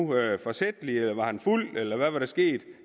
var det forsætligt var han fuld eller hvad skete